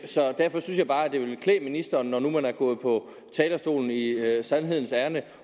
så derfor synes jeg bare at det ville klæde ministeren når nu man er gået på talerstolen i sandhedens ærinde